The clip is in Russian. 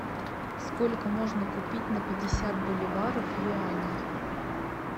сколько можно купить на пятьдесят боливаров юаней